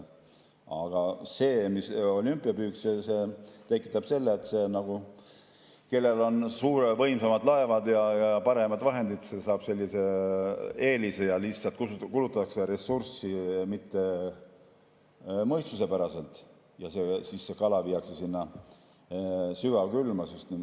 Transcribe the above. Aga see olümpiapüük tekitab selle, et kellel on suured võimsad laevad ja paremad vahendid, saab eelise ja lihtsalt kulutatakse ressurssi mittemõistuspäraselt ja kala viiakse sügavkülma.